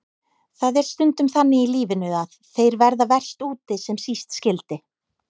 Það er stundum þannig í lífinu að þeir verða verst úti sem síst skyldi.